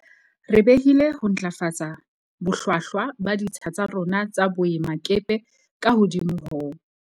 Re behile ho ntlafatsa bohlwa hlwa ba ditsha tsa rona tsa boe makepe ka hodimo ho.